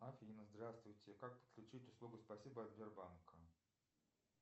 афина здравствуйте как подключить услугу спасибо от сбербанка